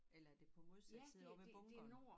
Eller er det på modsatte side ovre ved bunkeren?